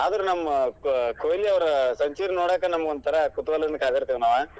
ಆದ್ರ್ ನಮ್ಮ ಕೊಹ್ಲಿಯವರ್ century ನೋಡಾಕ ನಮ್ಗ್ ಒಂಥರಾ ಕುತೂಹಲದಿಂದ ಕಾದಿರ್ತೇವಿ ನಾವ್.